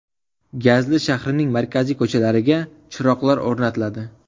Gazli shahrining markaziy ko‘chalariga chiroqlar o‘rnatiladi.